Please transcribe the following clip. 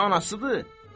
Ya anasıdır?